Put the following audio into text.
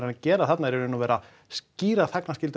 að gera þarna er í raun og veru að skýra